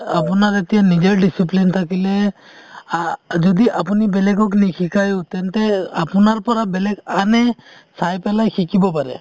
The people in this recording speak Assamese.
আপোনাৰ এতিয়া নিজৰ discipline থাকিলে অ যদি আপুনি বেলেগক নিশিকাইও তেন্তে আপোনাৰ পৰা বেলেগ আনে চাই পেলাই শিকিব পাৰে |